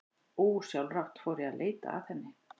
Ósjálfrátt fór ég að leita að henni.